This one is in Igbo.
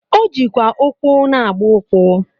O jikwa ụkwụ na-agba ụkwụ.